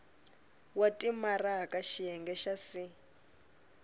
wa timaraka xiyenge xa c